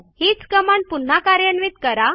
हीच कमांड पुन्हा कार्यान्वित करा